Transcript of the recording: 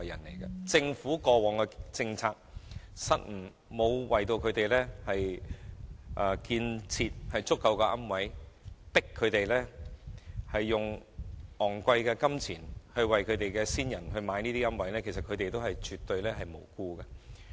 由於政府過往的政策失誤，沒有興建足夠的龕位，致使他們須支付大量金錢為先人購置龕位，所以他們絕對是無辜的。